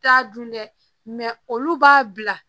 T'a dun dɛ mɛ olu b'a bila